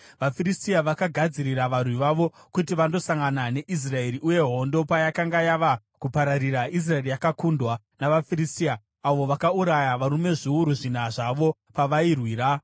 VaFiristia vakagadzirira varwi vavo kuti vandosangana neIsraeri, uye hondo payakanga yava kupararira, Israeri yakakundwa navaFiristia avo vakauraya varume zviuru zvina zvavo pavairwira.